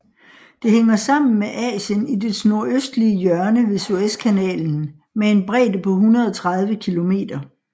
Det hænger sammen med Asien i dets nordøstlige hjørne ved Suezkanalen med en bredde på 130 km